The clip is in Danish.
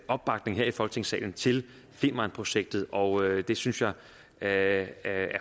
opbakning her i folketingssalen til femernprojektet og det synes jeg er et